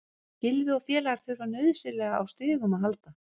Gylfi og félagar þurfa nauðsynlega á stigum að halda.